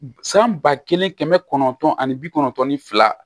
San ba kelen kɛmɛ kɔnɔntɔn ani bi kɔnɔntɔn ni fila